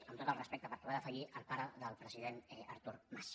amb tot el respecte perquè va morir el pare del president artur mas